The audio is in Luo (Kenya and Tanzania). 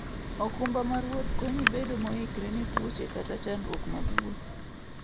okumba mar wuoth konyi bedo moikore ne tuoche kata chandruok mag wuoth.